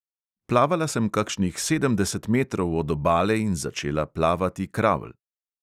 Plavala sem kakšnih sedemdeset metrov od obale in začela plavati kravl.